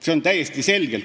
See on täiesti selge.